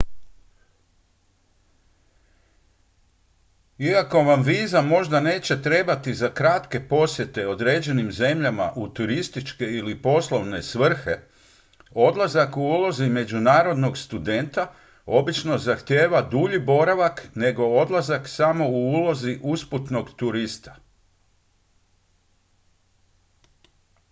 iako vam viza možda neće trebati za kratke posjete određenim zemljama u turističke ili poslovne svrhe odlazak u ulozi međunarodnog studenta obično zahtijeva dulji boravak nego odlazak samo u ulozi usputnog turista